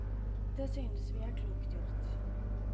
Det synes vi er klokt gjort.